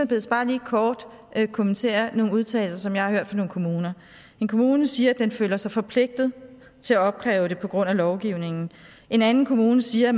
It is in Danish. bedes bare lige kort kommentere nogle udtalelser som jeg har hørt fra nogle kommuner en kommune siger at den føler sig forpligtet til at opkræve beløbet på grund af lovgivningen en anden kommune siger